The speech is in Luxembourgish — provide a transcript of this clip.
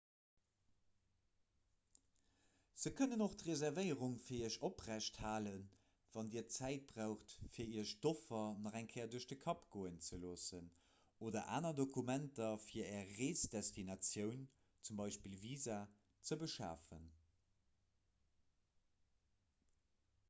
se kënnen och d'reservéierung fir iech oprechthalen wann dir zäit braucht fir iech d'offer nach eng kéier duerch de kapp goen ze loossen oder aner dokumenter fir är reesdestinatioun z. b. visa ze beschafen